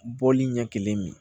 Bɔli ɲɛ kelen min